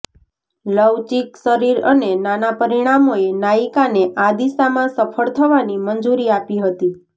લવચીક શરીર અને નાના પરિમાણોએ નાયિકાને આ દિશામાં સફળ થવાની મંજૂરી આપી હતી